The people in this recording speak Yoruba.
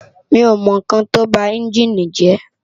Mi ó mò n kán tó bá ènjini jè